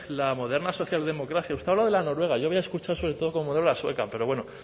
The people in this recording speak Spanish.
la moderna socialdemocracia usted habla de la noruega yo voy a escuchar sobre todo como modelo la sueca pero bueno